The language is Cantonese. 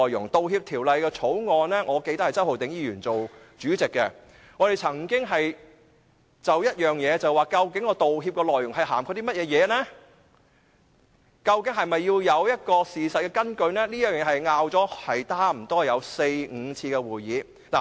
我記得《道歉條例草案》委員會是由周浩鼎議員擔任主席的，我們曾經就道歉內容的涵蓋範圍，以及是否需要有事實根據等，差不多用了四五次會議來爭論。